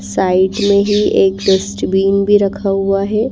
Side में ही एक डस्टबीन भी रखा हुआ हैं।